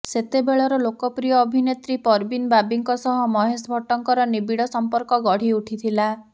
ସେତେବେଳର ଲୋକପ୍ରିୟ ଅଭିନେତ୍ରୀ ପରବିନ ବାବିଙ୍କ ସହ ମହେଶ ଭଟ୍ଟଙ୍କର ନିବିଡ ସମ୍ପର୍କ ଗଢି ଉଠିଥିଲା